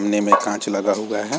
ने में कांच लगा हुआ है --